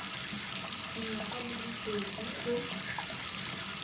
dingwaga di le pedi go